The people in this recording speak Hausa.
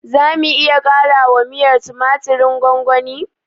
Zamu iya ƙarawa miyar tumatirin gwamgwani?